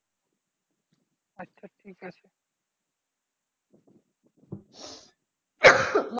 আচ্ছা ঠিক আছে।